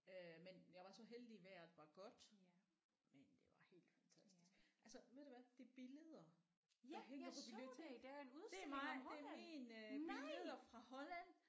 Øh men jeg var så heldig vejret var godt men det var helt fantastisk altså ved du hvad de billeder der hænger på biblioteket det er mig det er min øh billeder fra Holland